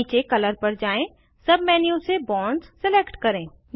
नीचे कलर पर जाएँ सब मेन्यू से बॉन्ड्स सिलेक्ट करें